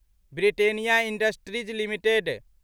Britannia industries limited